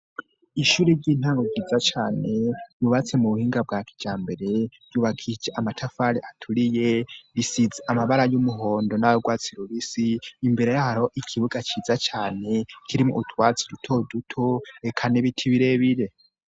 Ishuri ry'intango ryiza cane ryubatse mu buhinga bwa kijambere ryubakishije amatafari aturiye risize amabara y'umuhondo nayu rwatsi rubisi imbere yaho hariho ikibuga ciza cane kirimwo utwatsi dutoduto eka n'ibiti birebire.